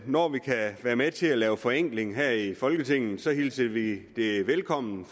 når vi kan være med til at lave forenkling her i folketinget så hilser vi det velkommen